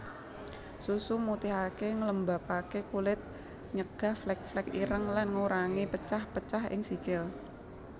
Susu mutihaké nglembabaké kulit nyegah flek flek ireng lan ngurangi pecah pecak ing sikil